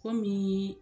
Komi